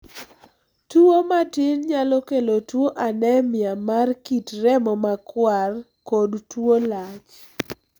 Tuwo matin nyalo kelo tuo anemia mar kit remo makwar kod tuo lach